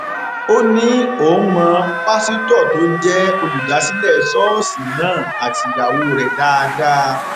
ó ní òun mọ pásítọ tó jẹ olùdásílẹ ṣọọṣì náà àti ìyàwó rẹ dáadáa